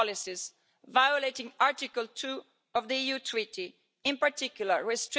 this Parliament and the Commission. But you just can't help yourselves.